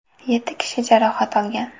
Yetti kishi jarohat olgan.